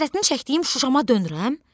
Həsrətini çəkdiyim Şuşama dönürəm?